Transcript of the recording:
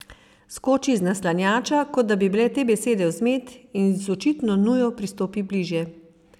Skoči iz naslanjača, kot da bi bile te besede vzmet, in z očitno nujo pristopi bližje.